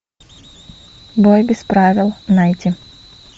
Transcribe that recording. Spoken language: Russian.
бой без правил найти